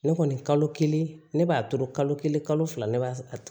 Ne kɔni kalo kelen ne b'a to kalo kelen kalo fila ne b'a